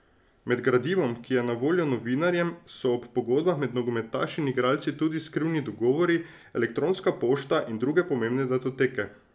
Med gradivom, ki je na voljo novinarjem, so ob pogodbah med nogometaši in igralci tudi skrivni dogovori, elektronska pošta in druge pomembne datoteke.